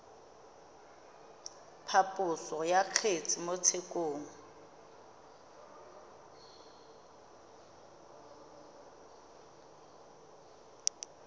phaposo ya kgetse mo tshekong